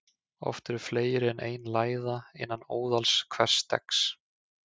Oft eru fleiri en ein læða innan óðals hvers steggs.